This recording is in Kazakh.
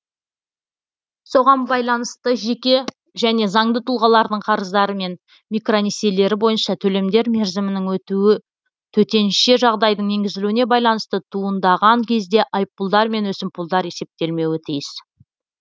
соған байланысты жеке және заңды тұлғалардың қарыздары мен микронесиелері бойынша төлемдер мерзімінің өтуі төтенше жағдайдың енгізілуіне байланысты туындаған кезде айыппұлдар мен өсімпұлдар есептелмеуі тиіс